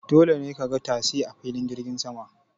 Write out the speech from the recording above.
Dole ne ka ga tasi a filin jirgin sama.